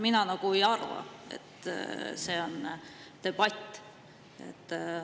Mina ei arva, et see on debatt.